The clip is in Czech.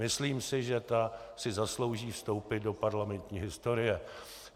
Myslím si, že ta si zaslouží vstoupit do parlamentní historie.